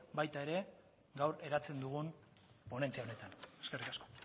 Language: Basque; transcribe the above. baita ere gaur eratzen dugun ponentzia honetan eskerrik asko